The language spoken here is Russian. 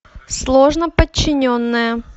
сложноподчиненное